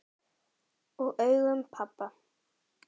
Og augum pabba.